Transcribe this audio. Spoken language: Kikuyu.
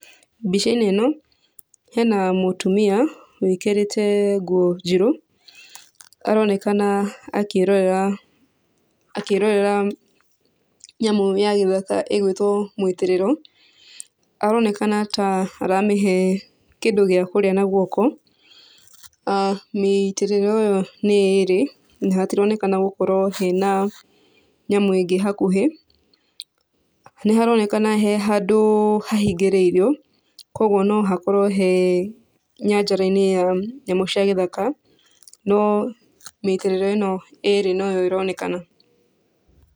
Mbica-inĩ ĩno hena mũtumia wĩkĩrĩte nguo njĩru, aronekana akĩrorera akĩrorera nyamũ ya gĩthaka ĩgwĩtwo mũitĩrĩro. Aronekana ta aramĩhe kĩndũ gĩa kũrĩa na guoko. Mĩitĩrĩro ĩyo nĩ ĩrĩ, na hatironekana gũkorwo hena nyamũ ĩngĩ hakuhĩ. Nĩharonekana he handũ hahingĩrĩirio kuoguo no hakorwo he nyanjara-inĩ ya nyamũ cia gĩthaka no mĩitĩrĩro ĩno ĩrĩ noyo ĩronekana.